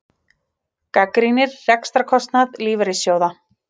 Gagnrýnir rekstrarkostnað lífeyrissjóða